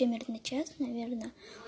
примерно час наверное